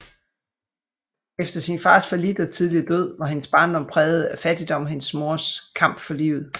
Efter sin fars fallit og tidlige død var hendes barndom præget af fattigdom og hendes mors kamp for livet